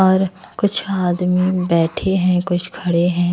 और कुछ आदमी बैठे हैं कुछ खड़े हैं।